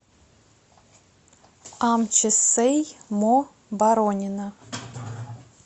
амчи сэй мо боронина